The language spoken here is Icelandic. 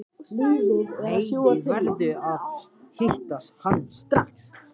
Nei, ég verð að hitta hann strax.